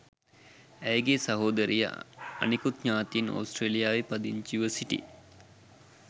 ඇයගේ සහෝදරිය අනිකුත් ඥාතීන් ඔස්ට්‍රේලියාවේ පදිංචිව සිටි